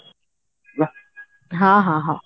ହଁ ହଁ ହଁ